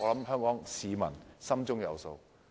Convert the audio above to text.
香港市民心中有數。